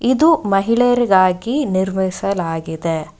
ಇದು ಮಹಿಳೆಯರಿಗಾಗಿ ನಿರ್ವಹಿಸಲಾಗಿದೆ.